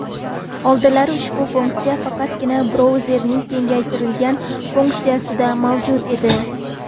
Oldinlari ushbu funksiya faqatgina brauzerlarning kengaytirilgan funksiyasida mavjud edi.